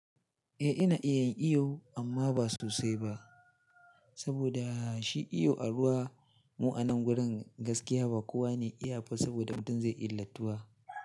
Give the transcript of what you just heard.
Eh ina iya yin iyo amma ba sosai ba, saboda shi iyo a ruwa mu a nan wurin gaskiya ba kowa ne iya ba saboda mutum zai ilattuwa.